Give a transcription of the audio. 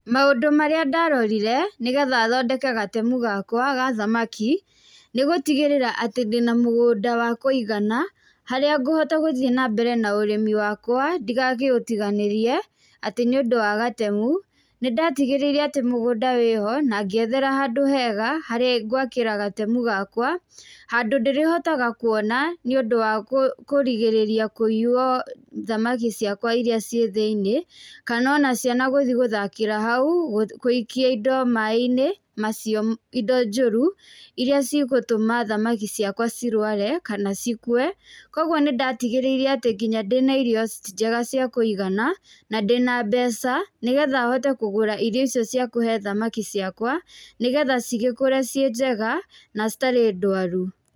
Maũndũ marĩa ndarorire nĩ getha thondeke gatemu gakwa ga thamaki, nĩ gũtigĩrĩra atĩ ndĩna mũgũnda wa kũigana, harĩa ngũhota gũthiĩ na mbere na ũrĩmi wakwa ndĩgakĩũtiganĩrie, atĩ nĩ ũndũ wa gatemu. Nĩ ndatigĩrĩire atĩ mũgũnda wĩho, na ngĩethera handũ hega harĩa ngwakĩra gatemu gakwa, handũ ndĩrĩhotaga kuona, nĩ ũndũ wa kũrigĩrĩria kũiywo thamaki ciakwa irĩa ciĩ thĩiniĩ, kana ona ciana gũthi gũthakĩra hau, gũikia indo maĩ-inĩ macio indo njũru, irĩa cigũtũma thamaki ciakwa cirware kana cikue. Kũguo nĩ ndatigĩrĩire atĩ nginya ndĩna irio njega cia kũigana, na ndĩna mbeca, nĩ getha hote kũgũra irio icio cia kũhe thamaki ciakwa, nĩ getha cigĩkũre ciĩ njega, na citarĩ ndwaru.